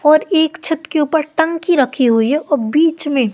और एक छत के ऊपर टंकी रखी हुई है और बीच में--